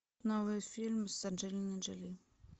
новый фильм с анджелиной джоли